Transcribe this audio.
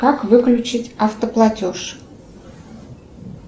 как выключить автоплатеж